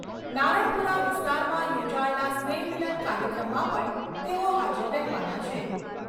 નારણપુરા વિસ્તારમાં યોજાયેલા સ્નેહ મિલન કાર્યક્રમમાં પણ તેઓ હાજર રહેવાના છે.